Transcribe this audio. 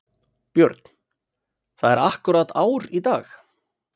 Björn: Það er akkúrat ár í dag?